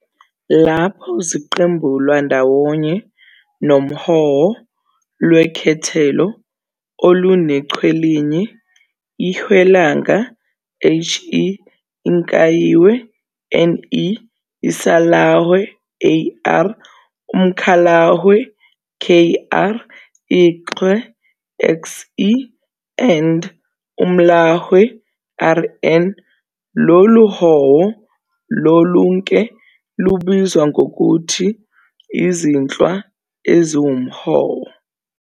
Lapho ziqembulwa ndawonye nohowo lwekhethelo olunechwelinye - IHwelanga, He, iNkanyihwe, Ne, IsAlahwe, Ar, umKhalahwe, Kr, IXhwe, Xe, and umLahwe, Rn - loluhowo lolunke lubizwa ngokuthi "izinhlwa eziwuhowo".